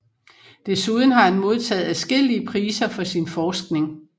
Desuden har han modtaget adskillige priser for sin forskning